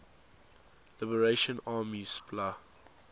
liberation army spla